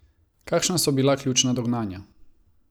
Kakšna so bila ključna dognanja?